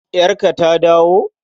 Yarka ta dawo?